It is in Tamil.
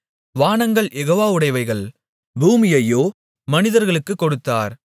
வானங்கள் யெகோவாவுடையவைகள் பூமியையோ மனிதர்களுக்குக் கொடுத்தார்